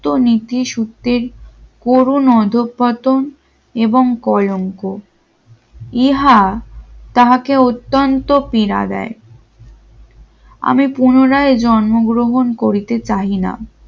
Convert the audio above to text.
তো নিতে সত্যের করুন অধঃপতন এবং কলঙ্ক ইহা তাকে অত্যন্ত পীড়া দেয় আমি পুনরায় জন্মগ্রহণ করিতে চাই না